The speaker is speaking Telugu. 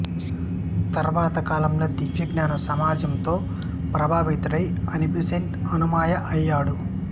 తర్వాత కాలంలో దివ్యజ్ఞాన సమాజంతో ప్రభావితుడై అనిబీసెంట్ అనుయాయి అయ్యాడు